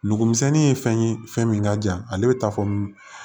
Nugumisɛnnin ye fɛn ye fɛn min ka jan ale bɛ taa fɔ